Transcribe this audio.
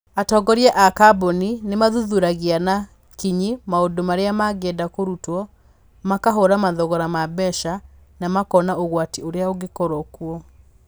Atongoria a kambuni nĩ mathuthuragia na kinyi maũndũ marĩa mangĩenda kũrutwo, makahũra mathogora ma mbeca, na makona ũgwati ũrĩa ũngĩkorũo kuo.